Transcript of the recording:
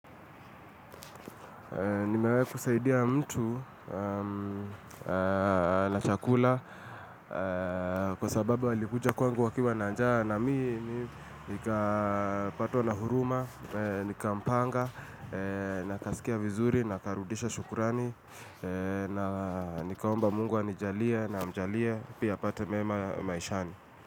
Nimewahi kusaidia mtu? Na chakula kwa sababu alikuja kwangu akiwa na njaa na mimmi nikapatwa na huruma, nikampanga, na akasikia vizuri, na akarudisha shukrani, na nikaomba mungu anijalie na amjalie, pia apate mema maishani.